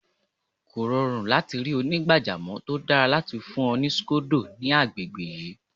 Kò rọrùn láti ri onígbàjamọ̀ tó dára láti fún ọ ní scodo ní agbègbè yìí.